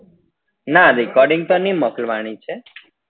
ના recording તો ની છે